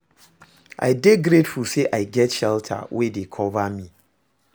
I dey grateful say I get shelter wey dey cover me.